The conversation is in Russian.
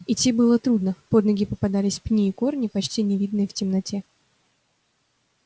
идти было трудно под ноги попадались пни и корни почти не видные в темноте